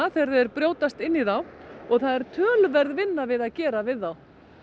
þegar þeir brjótast inn í þá og það er töluverð vinna við að gera við þá